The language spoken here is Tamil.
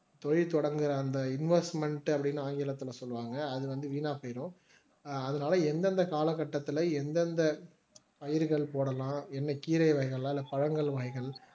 தொழில் தொடங்குற அந்த இன்வெஸ்ட்மென்ட் அப்படின்னு ஆங்கிலத்தில் சொல்லுவாங்க அது வந்து வீணா போயிரும். அதனால எந்தெந்த கால கட்டத்துல எந்தெந்த பயிர்கள் போடலாம் என்ன கீரை வகைகள் இல்ல பழங்கள் வகைகள்